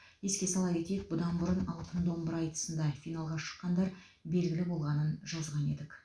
еске сала кетейік бұдан бұрын алтын домбыра айтысында финалға шыққандар белгілі болғанын жазған едік